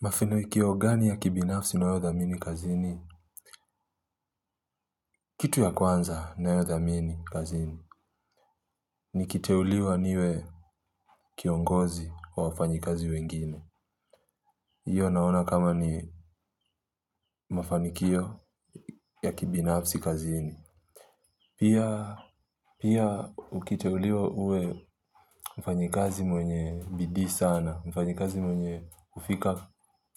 Mafanikio gani ya kibinafsi nayothamini kazini? Kitu ya kwanza na yodhamini kazini. Nikiteuliwa niwe kiongozi wa wafanyikazi wengine. Iyo naona kama ni mafanikio ya kibinafsi kazini. Pia ukiteuliwa uwe mfanyikazi mwenye bidii sana. Mfanyikazi mwenye ufika